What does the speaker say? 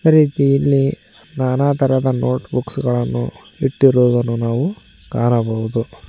ಅದೇ ರೀತಿ ಇಲ್ಲಿ ನಾನಾತರದ ನೋಟಬುಕ್ಸ್ ಗಳನ್ನು ಇಟ್ಟಿರುದನ್ನು ನಾವು ಕಾಣಬಹುದು.